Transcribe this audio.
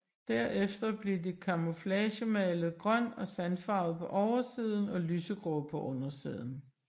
Derefter blev de kamuflagemalet grøn og sandfarvet på oversiden og lysegrå på undersiden